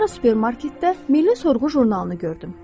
Sonra supermarketdə Milli Sorğu jurnalını gördüm.